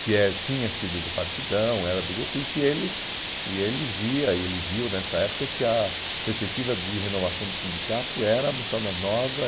que é tinha sido do Partidão, era do grupo, e que ele, e ele via e ele viu nessa época, que a perspectiva de renovação do sindicato era a moçada nova.